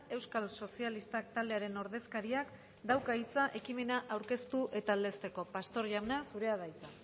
euskal sozialistak taldearen ordezkariak dauka hitza ekimena aurkeztu eta aldezteko pastor jauna zurea da hitza